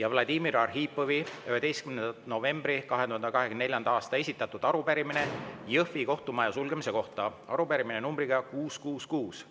ja Vladimir Arhipovi 11. novembril 2024. aastal esitatud arupärimine Jõhvi kohtumaja sulgemise kohta, arupärimine numbriga 666.